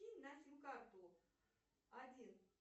кинь на сим карту один